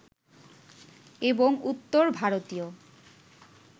এবং উত্তর ভারতীয়